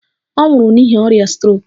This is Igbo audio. Ọ nwụrụ n'ihi ọrịa strok.